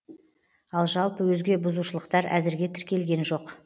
ал жалпы өзге бұзушылықтар әзірге тіркелген жоқ